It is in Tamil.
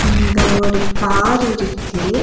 இங்க ஒரு கார் இருக்கு.